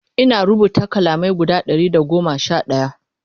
Ina rubuta kalamai guda Ɗari da goma Sha ɗaya